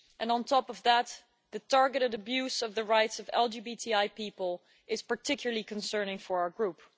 On top of that, the targeted abuse of the rights of LGBTI people is of particular concern for our Group.